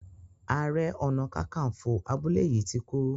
aré ọnà kankanfo abúlé yí tí kú.